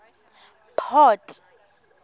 port